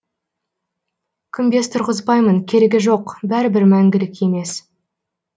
күмбез тұрғызбаймын керегі жоқ бәрібір мәңгілік емес